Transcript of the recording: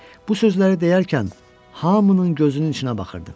Bu sözləri deyərkən hamının gözünün içinə baxırdım.